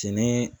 Fini